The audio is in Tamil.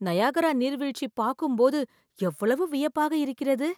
நயாகரா நீர்வீழ்ச்சி பார்க்கும்போது எவ்வளவு வியப்பாக இருக்கிறது!